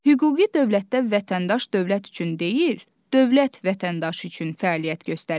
Hüquqi dövlətdə vətəndaş dövlət üçün deyil, dövlət vətəndaş üçün fəaliyyət göstərir.